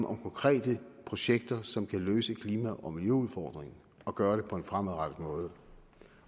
om konkrete projekter som kan løse klima og miljøudfordringerne og gøre det på en fremadrettet måde